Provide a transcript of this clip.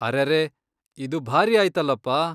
ಅರೆರೇ... ಇದು ಭಾರಿ ಆಯ್ತಲಪ!